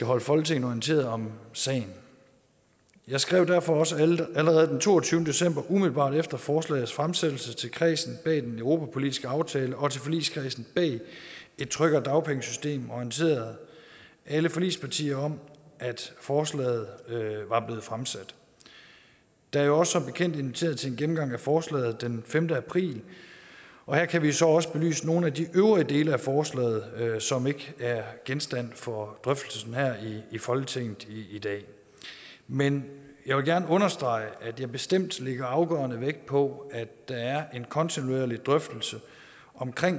holde folketinget orienteret om sagen jeg skrev derfor også allerede den toogtyvende december umiddelbart efter forslagets fremsættelse til kredsen bag den europapolitiske aftale og til forligskredsen bag et tryggere dagpengesystem og orienterede alle forligspartier om at forslaget var blevet fremsat der er jo som bekendt også inviteret til en gennemgang af forslaget den femte april og her kan vi så også belyse nogle af de øvrige dele af forslaget som ikke er genstand for drøftelsen her i folketinget i dag men jeg vil gerne understrege at jeg bestemt lægger afgørende vægt på at der er en kontinuerlig drøftelse om